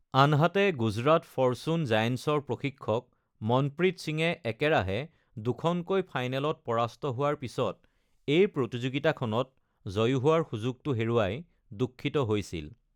আনহাতে, গুজৰাট ফৰ্চুন জায়েন্টছৰ প্ৰশিক্ষক মনপ্ৰীত সিঙে একেৰাহে দুখনকৈ ফাইনেলত পৰাস্ত হোৱাৰ পিছত এই প্ৰতিযোগিতাখনত জয়ী হোৱাৰ সুযোগটো হেৰুৱাই দুঃখিত হৈছিল।